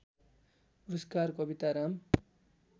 पुरस्कार कविताराम